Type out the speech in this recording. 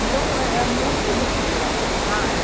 Então, é é muito deprê, eu acho, sabe?